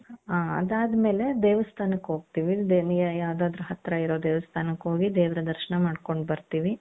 ಅ ಅದಾದ್ಮೇಲೆ ದೇವಸ್ಥಾನಕ್ಕೆ ಹೋಗ್ತೀವಿ ದೇವಿ ಯಾ ಯಾವುದಾದರು ಹತ್ರ ಇರೋ ದೇವಸ್ಥಾನಕ್ಕೆ ಹೋಗಿ ದೇವರ ದರ್ಶನ ಮಾಡ್ಕೊಂಡು ಬರ್ತೀವಿ.